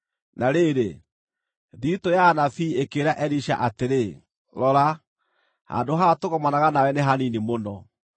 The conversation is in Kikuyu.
Na rĩrĩ, thiritũ ya anabii ĩkĩĩra Elisha atĩrĩ, “Rora, handũ haha tũgomanaga nawe nĩ hanini mũno.